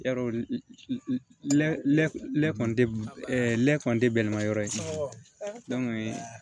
Yarɔ kɔni ne kɔni tɛ bɛlima yɔrɔ ye